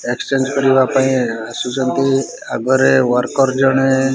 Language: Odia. ଏକ୍ସଚେଞ୍ଜ କରିବା ପାଁଇ ଆସୁସଛନ୍ତି ଆଗରେ ୱାରକର ଜଣେ --